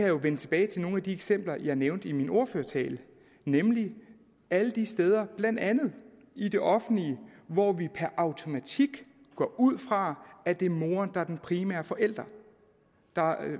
jo vende tilbage til nogle af de eksempler jeg nævnte i min ordførertale nemlig alle de steder blandt andet i det offentlige hvor vi per automatik går ud fra at det er moren der er den primære forælder der er